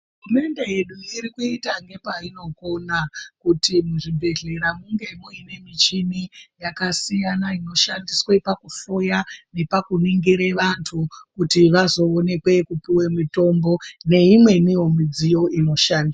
Hurumende yedu irikuita nepainokona kuti muzvibhedhlera munge muine muchini yakasiyana inoshandiswa pakuhloya nepakuningire vantu kuti vazoonekwe kupuwe mitombo neimweni midziyo inoshandiswa.